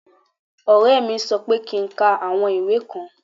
Ore mí sọ pé kí ń ká àwọn ìwé kan.